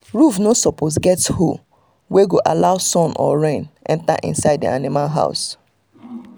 roof no suppose get hole wey go allow sun or rain enter inside the animal house